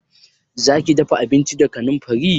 Zaki dafa abinci da kanamfari?